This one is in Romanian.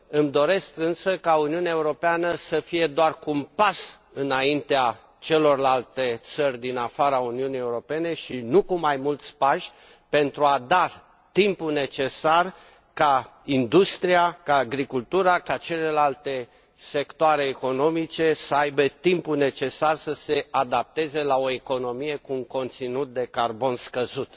Îmi doresc însă ca Uniunea Europeană să fie doar cu un pas înaintea celorlalte țări din afara Uniunii Europene, și nu cu mai mulți pași, pentru a da timpul necesar ca industria, ca agricultura, ca celelalte sectoare economice să aibă timpul necesar să se adapteze la o economie cu un conținut de carbon scăzut.